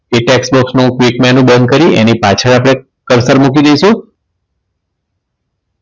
તે tax box નું click menu બંધ કરી એની પાછળ આપડે Cursal મૂકી દઈશું.